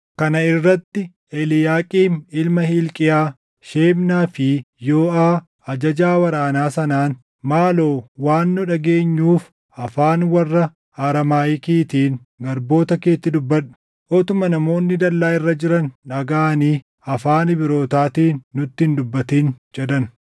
Kana irratti Eliiyaaqiim ilma Hilqiyaa, Shebnaa fi Yooʼaa ajajaa waraanaa sanaan, “Maaloo waan nu dhageenyuuf afaan warra Araamaayikiitiin garboota keetti dubbadhu. Utuma namoonni dallaa irra jiran dhagaʼanii afaan Ibrootaatiin nutti hin dubbatin” jedhan.